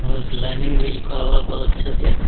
और लाइनिंग भी लिखा हुआ है बहुत अच्छा से |